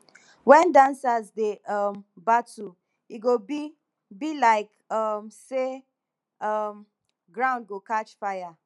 wen dancers dey um battle e go be be like um say um ground go catch fire